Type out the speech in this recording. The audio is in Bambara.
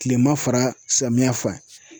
Kilema fara samiyɛ fan.